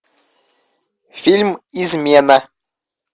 фильм измена